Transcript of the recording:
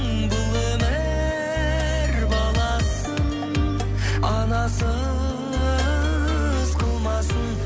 бұл өмір баласын анасыз қылмасын